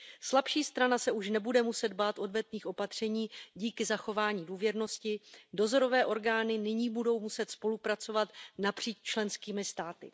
Slabší strana se už nebude muset bát odvetných opatření díky zachování důvěrnosti, dozorové orgány nyní budou muset spolupracovat napříč členskými státy.